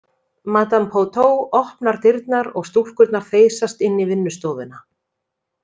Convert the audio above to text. Madame Pouteaux opnar dyrnar og stúlkunar þeysast inn í vinnustofuna.